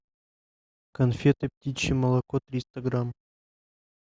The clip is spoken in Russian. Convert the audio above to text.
конфеты птичье молоко триста грамм